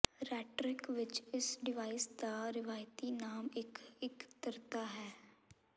ਰੈਟਰੀਕ ਵਿੱਚ ਇਸ ਡਿਵਾਈਸ ਦਾ ਰਵਾਇਤੀ ਨਾਮ ਇੱਕ ਇਕੱਤਰਤਾ ਹੈ